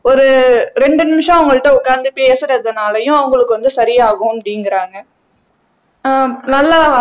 ஒரு ரெண்டு நிமிஷம் அவங்க கிட்ட உட்கார்ந்து பேசுறதுனாலயும் அவங்களுக்கு வந்து சரியாகும் அப்படிங்கிறாங்க ஆஹ் நல்லா